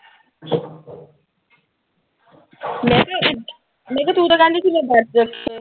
ਮੈਂ ਕਿਆ। ਮੈਂ ਕਿਆ ਤੂੰ ਤਾਂ ਕਹਿੰਦੀ ਸੀ ਮੈਂ ਵਰਤ ਰੱਖੂੰ।